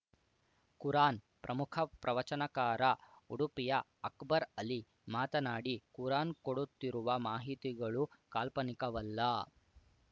ಕುರಾನ್‌ ಪ್ರಮುಖ ಪ್ರವಚನಕಾರ ಉಡುಪಿಯ ಅಕ್ಬರ್‌ ಅಲಿ ಮಾತನಾಡಿ ಕುರಾನ್‌ ಕೊಡುತ್ತಿರುವ ಮಾಹಿತಿಗಳು ಕಾಲ್ಪನಿಕವಲ್ಲ